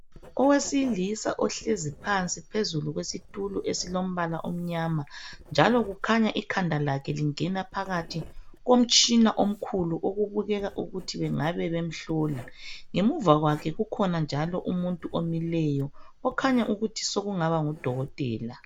Owesilisa ohlezi phansi phezulu kwesitulo esilombala omnyama njalo kukhanya ikhanda lakhe lingena phakathi komtshina omkhulu okubukeka ukuthi bengabe bemhlola, ngemuva kwakhe njalo kukhona umuntu omileyo okhanya engani engaba ngudokotela.